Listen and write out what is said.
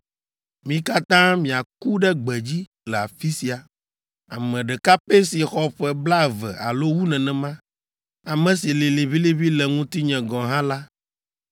Mi katã miaku ɖe gbedzi le afi sia! Ame ɖeka pɛ si xɔ ƒe blaeve alo wu nenema, ame si lĩ liʋĩliʋĩ le ŋutinye gɔ̃ hã la